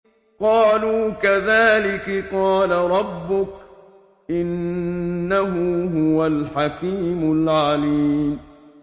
قَالُوا كَذَٰلِكِ قَالَ رَبُّكِ ۖ إِنَّهُ هُوَ الْحَكِيمُ الْعَلِيمُ